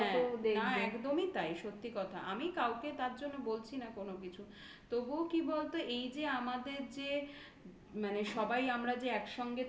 হ্যাঁ একদমই তাই. সত্যি আমি কাউকে তার জন্য বলছি না কোনো কিছু. তবুও কি বলতো এই যে আমাদের যে মানে সবাই আমরা যে একসঙ্গে